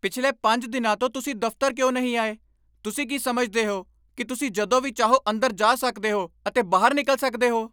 ਪਿਛਲੇ ਪੰਜ ਦਿਨਾਂ ਤੋਂ ਤੁਸੀਂ ਦਫ਼ਤਰ ਕਿਉਂ ਨਹੀਂ ਆਏ? ਤੁਸੀਂ ਕੀ ਸਮਝਦੇ ਹੋ ਕੀ ਤੁਸੀਂ ਜਦੋਂ ਵੀ ਚਾਹੋ ਅੰਦਰ ਜਾ ਸਕਦੇ ਹੋ ਅਤੇ ਬਾਹਰ ਨਿਕਲ ਸਕਦੇ ਹੋ?